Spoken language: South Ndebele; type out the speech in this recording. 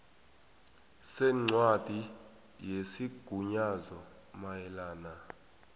sencwadi yesigunyazo mayelana